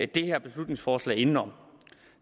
det her beslutningsforslag indenom